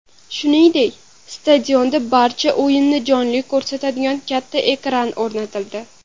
Shuningdek, stadionda barcha o‘yinni jonli ko‘rsatadigan katta ekran o‘rnatildi.